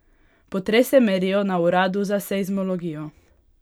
Potrese merijo na uradu za seizmologijo.